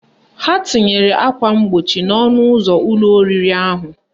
Ha tinyere akwa mgbochi n'ọnụ ụzọ ụlọ oriri ahụ